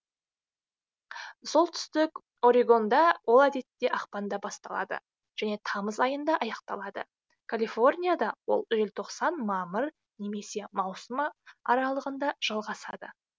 солтүстік орегонда ол әдетте ақпанда басталады және тамыз айында аяқталады калифорнияда ол желтоқсан мамыр немесе маусымы аралығында жалғасады